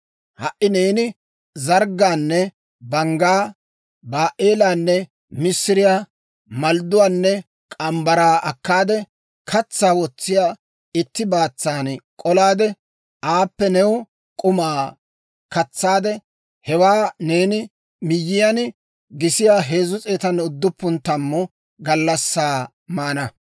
«Ha"i neeni, zarggaanne banggaa, baa"eelaanne missiriyaa, maldduwaanne morgge mitsaa akkaade, katsaa wotsiyaa itti baatsan k'olaade, aappe new k'umaa katsaade; hewaa neeni miyyiyaan gisiyaa 390 gallassaa maana.